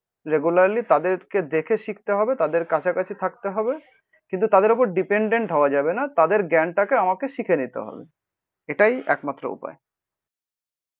Regularly তাদেরকে দেখে শিখতে হবে, তাদের কাছাকাছি থাকতে হবে। কিন্তু তাদের ওপর ডিপেন্ডেন্ট হওয়া যাবে না, তাদের জ্ঞানটাকে আমাকে শিখে নিতে হবে। এটাই একমাত্র উপায়